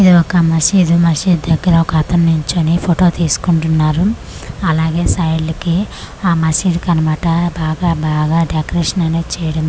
ఇది ఒక మసీదు మసీదు దగ్గర ఒక అతను నిల్చొని పొటో తీస్కుంటున్నారు అలాగే సాయిల్డ్కి ఆ మసీదుకంమాట బాగా బాగా డెకరేషన్ అనేది చేయడం జరి'--'